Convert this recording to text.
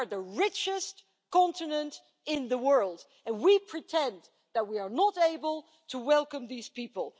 We are the richest continent in the world and we pretend that we are not able to welcome these people